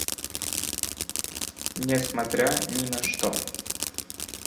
несмотря ни на что